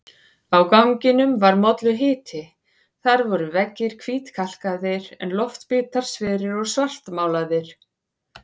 Á ganginum var molluhiti, þar voru veggir hvítkalkaðir en loftbitar sverir og svartmálaðir.